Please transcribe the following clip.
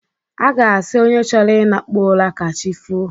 A ga-asị onye chọrọ ịnakpu ụra ka chi foo.